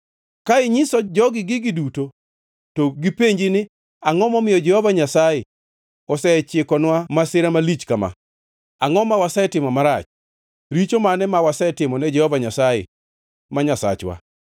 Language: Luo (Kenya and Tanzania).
“Ka inyiso jogi gigi duto to gipenji ni, ‘Angʼo momiyo Jehova Nyasaye osechikonwa masira malich ka ma? Angʼo ma wasetimo marach? Richo mane ma wasetimo ne Jehova Nyasaye ma Nyasachwa?’